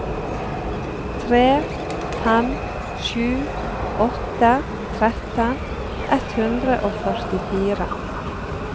tre fem sju åtte tretten ett hundre og førtifire